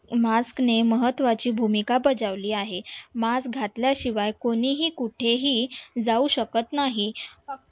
Mask ने महत्त्वाची भूमिका बजावली आहे. mask घातल्याशिवाय कोणीही कुठेही जाऊ शकत नाही.